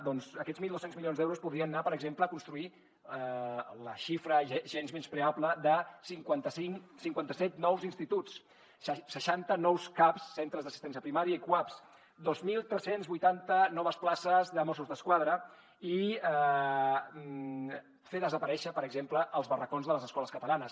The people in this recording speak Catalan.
doncs aquests mil dos cents milions d’euros podrien anar per exemple a construir la xifra gens menyspreable de cinquanta set nous instituts seixanta nous caps centres d’assistència primària i cuaps dos mil tres cents i vuitanta noves places de mossos d’esquadra i fer desaparèixer per exemple els barracons de les escoles catalanes